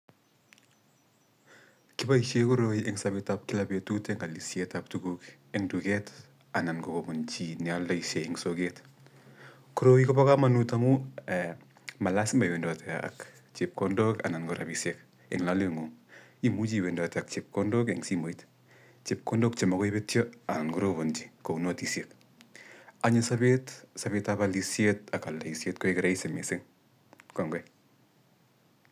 Kiboishe koroi eng' sobetab kila betut eng alisietab tuguk eng duket anan kokobunji nealdaishe eng sooget. Koroii kobokamanut amu malazima iwendote ak chepkondok anan ko rabishek eng loleng'ung'. Imuchi iwendote ak chepkondok eng simoot chepkondok che makoibetyo anan korobonji kouu notisiek. Anyi sobeet sobeetab alishet ak aldaishet koek rahisi mising kongoi.